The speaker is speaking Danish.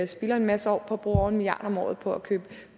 spilder en masse år og bruger over en milliard kroner om året på at købe